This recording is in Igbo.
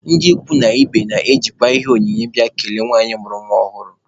Ndị ikwu na ibe na-ejikwa ihe onyinye abịa ikele nwanyị mụrụ nwa ọhụrụ.